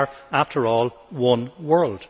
We are, after all, one world.